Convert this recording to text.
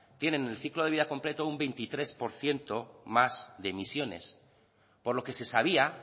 tienen el ciclo de vida completo un veintitrés por ciento más de emisiones por lo que se sabía